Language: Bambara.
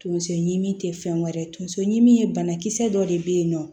Tonso ɲimi te fɛn wɛrɛ ye tonso ɲimi ye banakisɛ dɔ de bɛ yen nɔ